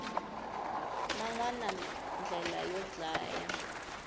man wana ndlela yo dlaya